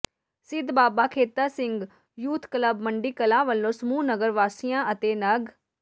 ਸਿੱਧ Baba Kheta Singh youth club Mandi Kalan ਵੱਲੋਂ ਸਮੂਹ ਨਗਰ ਵਾਸੀਆਂ ਅਤੇ ਨਗ